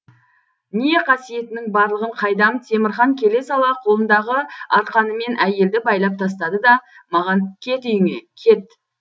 не қасиетінің барлығын қайдам темірхан келе сала қолындағы арқанымен әйелді байлап тастады да маған кет үйіңе кет